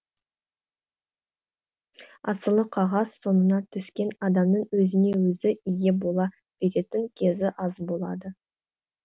асылы қағаз соңына түскен адамның өзіне өзі ие бола беретін кезі аз болады